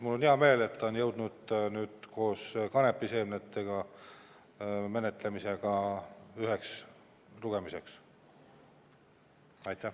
Mul on hea meel, et see on jõudnud koos kanepiseemnete menetlemisega ühele lugemisele.